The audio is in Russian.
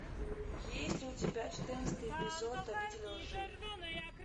есть ли у тебя четырнадцатый эпизод обитель лжи